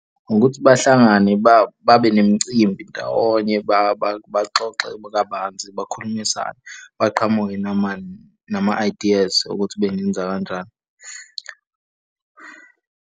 Ukuthi bahlangane babe nemicimbi ndawonye, baxoxe kabanzi. Bakhulumisane, baqhamuke nama-ideas ukuthi bengenza kanjani.